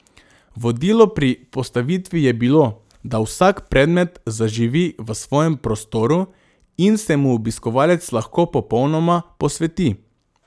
Vodilo pri postavitvi je bilo, da vsak predmet zaživi v svojem prostoru in se mu obiskovalec lahko popolnoma posveti.